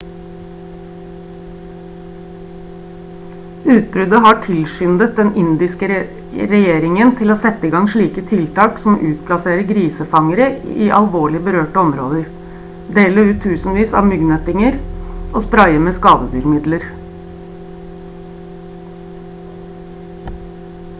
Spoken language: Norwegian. utbruddet har tilskyndet den indiske regjeringen til å sette i gang slike tiltak som å utplassere grisefangere i alvorlig berørte områder dele ut tusenvis av myggnettinger og spraye med skadedyrmidler